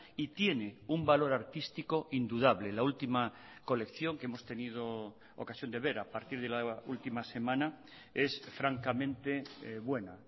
y tiene un valor artístico indudable la última colección que hemos tenido ocasión de ver a partir de la última semana es francamente buena